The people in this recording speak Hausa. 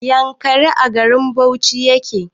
Yankari a garin bauchi yake